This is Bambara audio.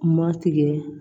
Ma tigɛ